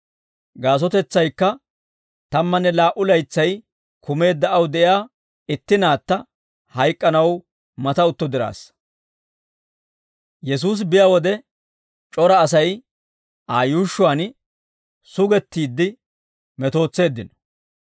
Gaasotetsaykka tammanne laa"u laytsay kumeedda aw de'iyaa itti naatta hayk'k'anaw mata utto diraassa. Yesuusi biyaa wode c'ora Asay Aa yuushshuwaan sugettiidde metootseeddino.